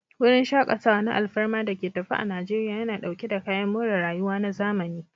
Wurin shakatawa na alfarma da ke tafe a Najeriya, yana dauke da kayan more rayuwa na zamani.